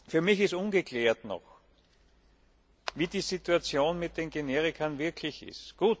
Für mich ist noch ungeklärt, wie die Situation mit den Generika wirklich ist.